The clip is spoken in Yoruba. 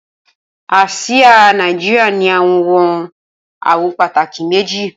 Asia Naijiria ni awọn awọ pataki meji